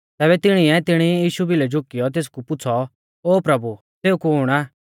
तैबै तिणीऐ तिणी ई यीशु भिलै झुकियौ तेसकु पुछ़ौ ओ प्रभु सेऊ कुण आ